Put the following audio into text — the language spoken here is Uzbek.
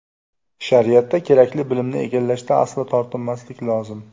Shariatda kerakli bilimni egallashda aslo tortinmaslik lozim.